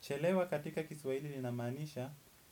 Chelewa katika kiswahili ina maanisha,